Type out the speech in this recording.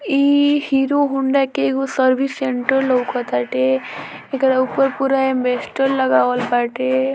इ Hero Honda के एगो सर्विस सेण्टर लौकटाते एकरा ऊपर पुरा अलबेस्टर लगावल बाटे।